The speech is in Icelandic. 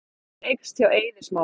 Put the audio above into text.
Samkeppnin eykst hjá Eiði Smára